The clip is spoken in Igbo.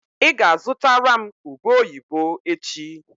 Ị ga-azụtara m ube oyibo echi.